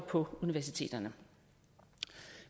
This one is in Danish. på universiteterne